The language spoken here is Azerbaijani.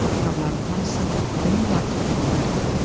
Bu kitabların hamısı demək olar ki, elmi kitablar idi.